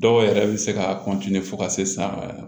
Dɔw yɛrɛ bɛ se ka fo ka se san